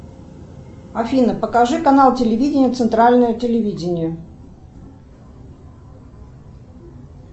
афина покажи канал телевидения центральное телевидение